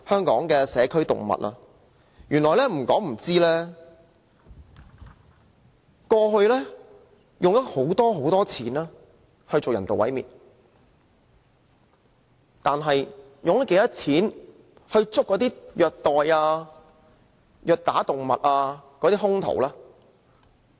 不說不知，原來過去政府用了很多金錢進行人道毀滅，但它用了多少錢來拘捕虐待動物的兇徒呢？